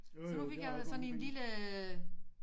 Så nu fik jeg sådan en lille